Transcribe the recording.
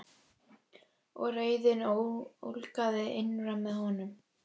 Og reiðin ólgaði innra með honum.